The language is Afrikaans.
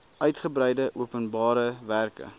uigebreide openbare werke